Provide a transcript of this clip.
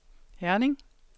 Herning